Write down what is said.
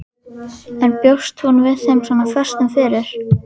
En bjóst hún við þeim svona föstum fyrir?